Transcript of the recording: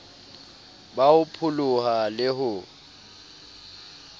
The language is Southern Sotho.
ba ho pholoha le ho